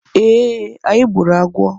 Ee, anyị gburu agwọ